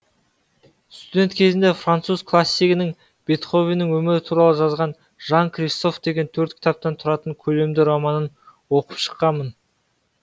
студент кезімде француз классигінің бетховеннің өмірі туралы жазған жан кристоф деген төрт кітаптан тұратын көлемді романын оқып шыққанмын